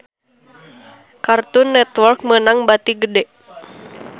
Cartoon Network meunang bati gede